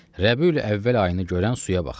Rəbiül əvvəl ayını görən suya baxa.